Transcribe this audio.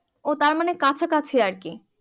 ও তার মানে কাছাকাছি আর কি